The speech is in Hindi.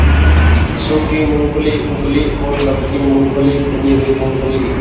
सूखी मूँगफली उबली और नमकीन मूँगफली भुनी हुई मूँगफली